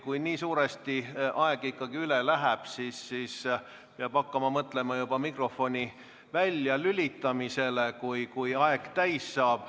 Kui nii suuresti aeg üle läheb, siis peab hakkama mõtlema juba mikrofoni väljalülitamisele, kui aeg täis saab.